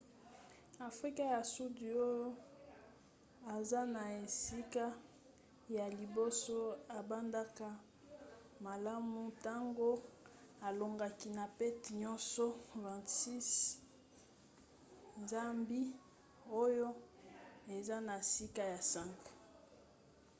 afrika ya sudi oyo aza na esika ya liboso abandaka malamu ntango alongaki na pete nyonso 26 - 00 zambie oyo eza na sika ya 5